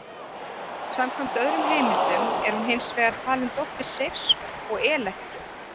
Samkvæmt öðrum heimildum er hún hins vegar talin dóttir Seifs og Elektru.